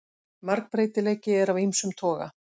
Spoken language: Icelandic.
Margbreytileiki er af ýmsum toga.